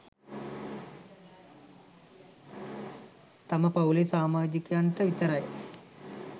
තම පවුලේ සාමාජිකයන්ට විතරයි.